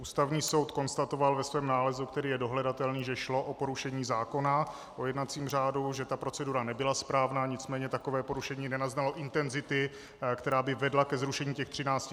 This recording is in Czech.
Ústavní soud konstatoval ve svém nálezu, který je dohledatelný, že šlo o porušení zákona o jednacím řádu, že ta procedura nebyla správná, nicméně takové porušení nenaznalo intenzity, která by vedla ke zrušení těch 13 návrhů.